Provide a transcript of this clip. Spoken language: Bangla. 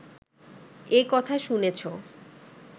এ কথা শুনেছ